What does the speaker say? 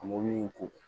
A mɔbili in ko